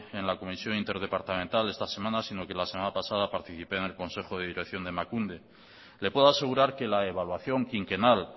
en la comisión interdepartamental de esta semana sino que la semana pasada participé en el consejo de dirección de emakunde le puedo asegurar que la evaluación quinquenal